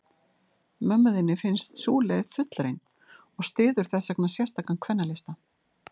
Mömmu þinni finnst sú leið fullreynd, og styður þessvegna sérstakan kvennalista.